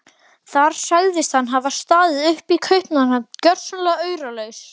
Þar sagðist hann hafa staðið uppi í Kaupmannahöfn gjörsamlega auralaus.